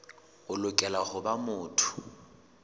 o lokela ho ba motho